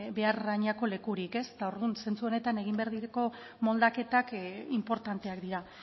behar adinako lekurik eta orduan zentzu honetan egin behar diren moldaketak inportanteak dira